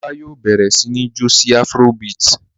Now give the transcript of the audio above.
Ọlá yóò bẹ̀rẹ̀ sí ní jó sí afrobeat.